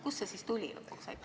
Kust see nimi tuli?